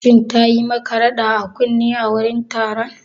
Shin tayi maka rada a kunne a wurin taron?